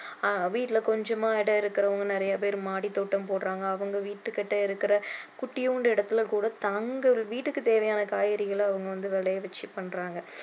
வீட்டுல கொஞ்சமா இடம் இருக்கிறவங்க நிறைய பேரு மாடி தோட்டம் போடறாங்க அவங்க வீட்டு கிட்ட இருக்கிற குட்டியூண்டு இடத்துல கூட தங்கள் வீட்டுக்கு தேவையான காய்க்கறிகளை அவங்க வந்து விளைவிச்சி பண்றாங்க